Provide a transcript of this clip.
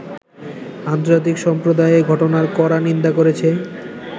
আন্তর্জাতিক সম্প্রদায় এ ঘটনার কড়া নিন্দা করেছে।